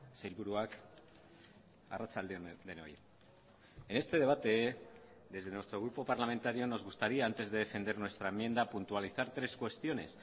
sailburuak arratsalde on denoi en este debate desde nuestro grupo parlamentario nos gustaría antes de defender nuestra enmienda puntualizar tres cuestiones